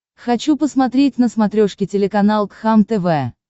хочу посмотреть на смотрешке телеканал кхлм тв